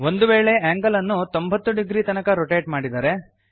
ಒಂದು ವೇಳೆ angle ಅನ್ನು 90 ಡಿಗ್ರಿ ತನಕ ರೊಟೇಟ್ ಮಾಡಿದರೆ